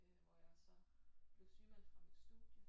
Øh hvor jeg så blev sygemeldt fra mit studie